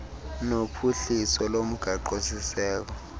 nophuhliso lomgaqo siseko